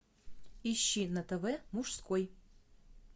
ищи на тв мужской